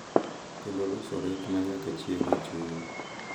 Kendo loso ret ma nyaka chieng’ e chuny.